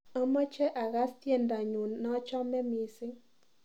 Amache agaas tyendonyu naachame missing